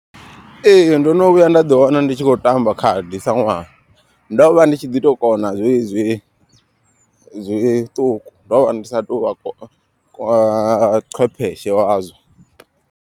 Ee ndono vhuya nda ḓi wana ndi tshi khou tamba khadi sa ṅwana. Ndo vha ndi tshi ḓi to kona zwe zwi zwiṱuku ndo vha ndi sa tou vha qwepheshe wazwo.